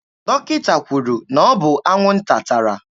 Dọkịta kwuru na ọ bụ anwụnta tara